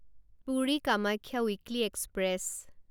Puri Kamakhya weekly express